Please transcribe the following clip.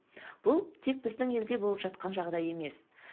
бұл тек біздің елде болып жатқан жағдай емес